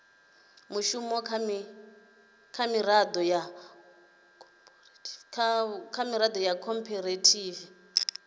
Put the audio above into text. mushumo kha miraḓo ya khophorethivi